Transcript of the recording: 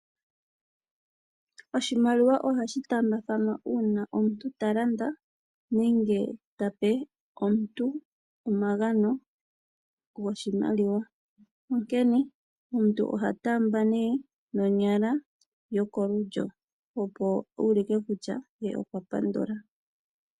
Oshimaliwa ohashi taambathanwa uuna omuntu talanda nenge tape omuntu omagano goshimaliwa. Onkena omuntu oha taamba ne nonyala yokolulyo, opo uulike kutya ye okwapandula.